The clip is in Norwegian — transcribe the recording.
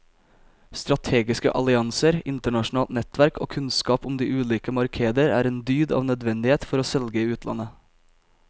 Strategiske allianser, internasjonalt nettverk og kunnskap om de ulike markeder er en dyd av nødvendighet for å selge i utlandet.